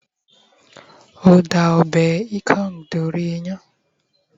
o da ọbè ikong dori iyán